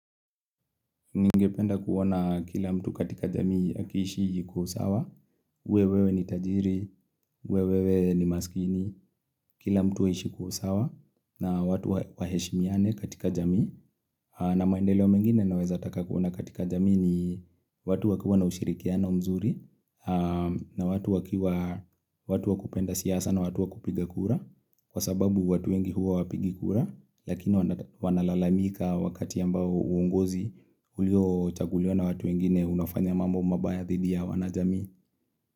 Ningependa kuona kila mtu katika jamii akishi kwa usawa, uwewe ni tajiri, uwewe ni maskini, kila mtu aishi kwa usawa na watu waheshimiane katika jamii. Na maendeleo mengine naweza taka kuona katika jamii ni watu wakiwa na ushirikiano mzuri na watu wakia watu wa kupenda siasa na watu wakupiga kura. Kwa sababu watu wengi huwa hawapigi kura lakini wanalalamika wakati ambao uungozi ulio chaguliwa na watu wengine unafanya mambo mabaya dhidi ya wana jamii.